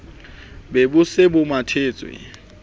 be bo se bo mathetse